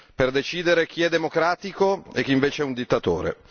Per decidere chi è democratico e chi invece è un dittatore?